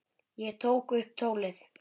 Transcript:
Ég tók upp tólið.